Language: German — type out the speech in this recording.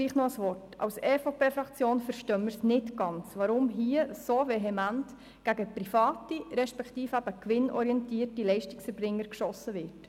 Noch ein Wort zum Schluss: Als EVP-Fraktion verstehen wir nicht ganz, warum hier so vehement gegen private respektive gewinnorientierte Leistungserbringer geschossen wird.